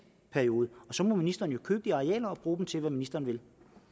periode og så må ministeren jo købe arealerne og bruge dem til det som ministeren vil